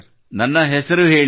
ನನ್ನ ಹೆಸರು ಹೇಳಿ